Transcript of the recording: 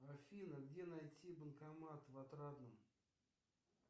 афина где найти банкомат в отрадном